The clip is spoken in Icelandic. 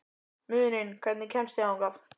Muninn, hvernig kemst ég þangað?